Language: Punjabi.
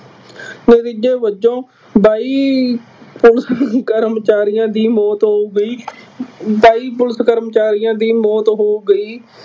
ਨਤੀਜੇ ਵਜੋਂ ਬਾਈ ਕਰਮ ਕਰਮਚਾਰੀਆਂ ਦੀ ਮੌਤ ਹੋ ਗਈ। ਬਾਈ ਪੁਲਿਸ ਕਰਮਚਾਰੀਆਂ ਦੀ ਮੌਤ ਹੋ ਗਈ।